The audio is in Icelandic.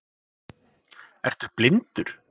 Ertu blindur!?